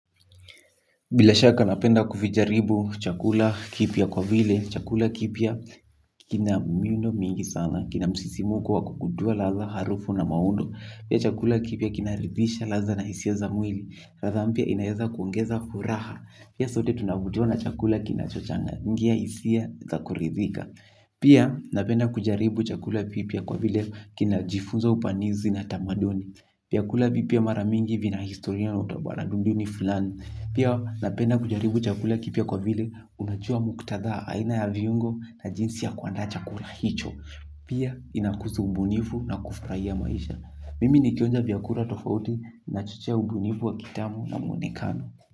Bila shaka napenda kuvijaribu chakula kipya kwa vile, chakula kipya kina miundo mingi sana, kina msisimuko wakukutua latha harufu na maundo, pia chakula kipia kinaridisha latha na isia za mwili, ratha mpia inawaza kwongeza furaha, pia sote tunavutiwa na chakula kinachochanga, ngia isia za kuridhika. Pia napenda kujaribu chakula pipia kwa vile kina jifunza upanizi na tamaduni pia kula pipia mara mingi vina historia na utabara dunduni fulani. Pia napenda kujaribu chakula kipia kwa vile unajua muktadha aina ya viungo na jinsi ya kwandaa chakula hicho. Pia inakuzu ubunifu na kufraia maisha. Mimi nikionja vyakura tofauti na chuchia ubunifu wa kitamu na mwenekano.